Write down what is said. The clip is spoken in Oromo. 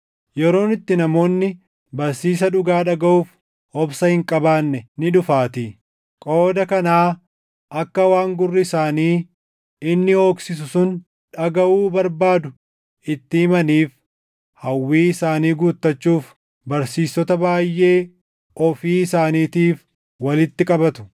Yeroon itti namoonni barsiisa dhugaa dhagaʼuuf obsa hin qabaanne ni dhufaatii. Qooda kanaa akka waan gurri isaanii inni hooqsisu sun dhagaʼuu barbaadu itti himaniif hawwii isaanii guutachuuf barsiistota baayʼee ofii isaaniitiif walitti qabatu.